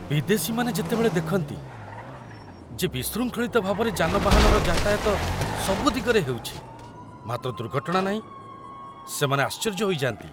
ବିଦେଶୀମାନେ ଯେତେବେଳେ ଦେଖନ୍ତି ଯେ ବିଶୃଙ୍ଖଳିତ ଭାବରେ ଯାନବାହନର ଯାତାୟତ ସବୁ ଦିଗରେ ହେଉଛି, ମାତ୍ର ଦୁର୍ଘଟଣା ନାହିଁ, ସେମାନେ ଆଶ୍ଚର୍ଯ୍ୟ ହୋଇଯାନ୍ତି।